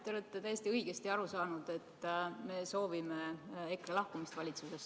Te olete täiesti õigesti aru saanud, et me soovime EKRE lahkumist valitsusest.